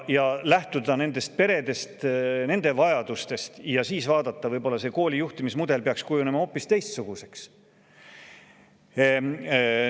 Tuleks lähtuda nendest peredest ja nende vajadustest – võib-olla peaks selle kooli juhtimismudel kujunema hoopis teistsuguseks?